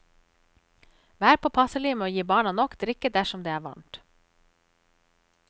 Vær påpasselig med å gi barna nok drikke dersom det er varmt.